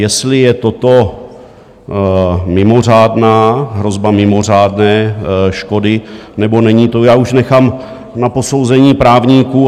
Jestli je toto mimořádná, hrozba mimořádné škody nebo není, to já už nechám na posouzení právníků.